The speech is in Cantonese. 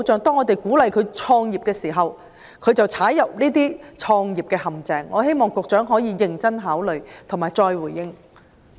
當我們鼓勵市民創業時，他們卻墮入創業陷阱，我希望局長可以認真考慮並再回應。